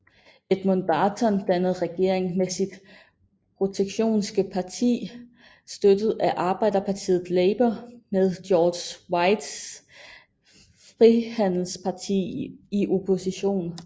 Edmund Barton dannede regering med sit Protektionistiske parti støttet af arbejderpartiet Labor med George Reids Frihandelsparti i opposition